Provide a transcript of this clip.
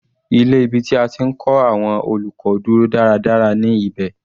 Ilé ibi tí a ti ń kọ́ àwọn olùkọ́ dúró dáradára ní ibẹ̀.